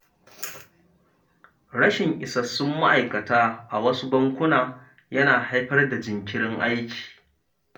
Rashin isassun ma’aikata a wasu bankuna yana haifar da jinkirin aiki.